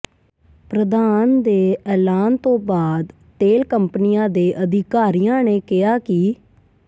ਪ੍ਰਧਾਨ ਦੇ ਐਲਾਨ ਤੋਂ ਬਾਅਦ ਤੇਲ ਕੰਪਨੀਆਂ ਦੇ ਅਧਿਕਾਰੀਆਂ ਨੇ ਕਿਹਾ ਕਿ